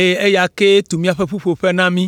eye eya kee tu míaƒe ƒuƒoƒe na mí.”